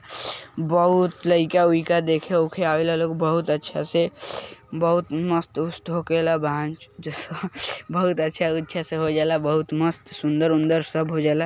बहुत लईका उईका देखे उखे आवेला लोग बहुत अच्छा से बहुत मस्त उस्त होएकेला बहन बहुत अच्छा उछा से होजाला बहुत मस्त सुंदर उनदर सब होएजाला ।